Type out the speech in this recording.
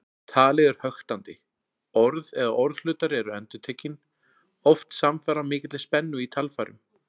Talið er höktandi, orð eða orðhlutar eru endurtekin, oft samfara mikilli spennu í talfærum.